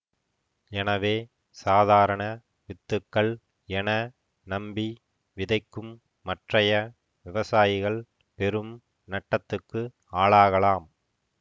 எனவே சாதாரண வித்துக்கள் என நம்பி விதைக்கும் மற்றைய விவசாயிகள் பெரும் நட்டத்துக்கு ஆளாகலாம்